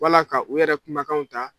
Wala ka u yɛrɛ kumakanw ta